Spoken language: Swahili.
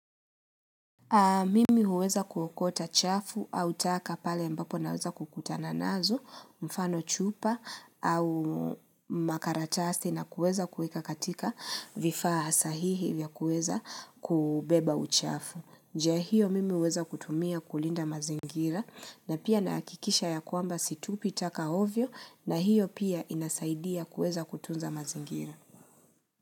Mimi huweza kuokota chafu au taka pale mbapo naweza kukutana nazo, mfano chupa au makaratasi na kuweza kuweka katika vifaa sahihi vya kuweza kubeba uchafu. Njia hiyo mimi huweza kutumia kulinda mazingira na pia na hakikisha ya kwamba situpi taka ovyo na hiyo pia inasaidia kuweza kutunza mazingira.